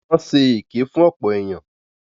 Wọ́n ṣe èké fún ọ̀pọ̀ èyàn.